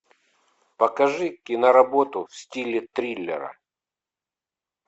покажи киноработу в стиле триллера